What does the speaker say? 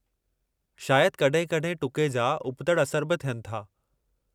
शायदि कड॒हिं-कड॒हिं टुके जा उबतड़ि असर बि थियनि था।